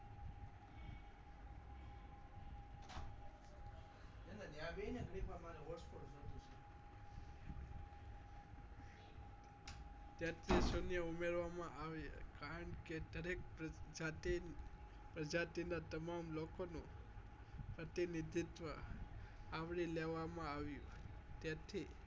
તેત્રી સુનય ઉમેરવા માં આવ્યા કારણ કે દરેક જાતી પ્રજાતિ ના તમામ લોકો નું પ્રતિનિધિત્વ આવરી લેવા માં આવ્યું તેથી